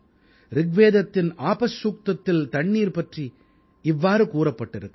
ரிக்வேதத்தின் ஆபஸ்சூக்தத்தில் தண்ணீர் பற்றி இவ்வாறு கூறப்பட்டிருக்கிறது